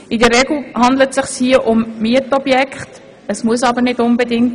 In der Regel handelt es sich hierbei um Mietobjekte, aber nicht immer.